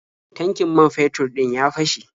Tankin man fetur ɗin ya fashe.